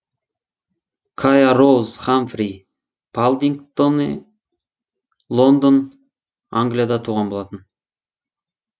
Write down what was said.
кая роуз хамфри паддингтоне лондон англияда туған болатын